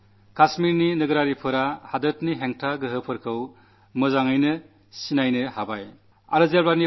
കശ്മീരിലെ ജനങ്ങൾ ദേശദ്രോഹശക്തികളെ നന്നായി മനസ്സിലാക്കാൻ തുടങ്ങിയിരിക്കുന്നു